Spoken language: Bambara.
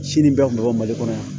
Sini bɛɛ kun bɛ bɔ mali kɔnɔ yan